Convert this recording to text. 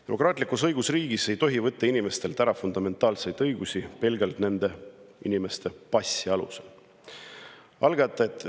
Demokraatlikus õigusriigis ei tohi inimestelt ära võtta fundamentaalseid õigusi pelgalt nende inimeste passi alusel.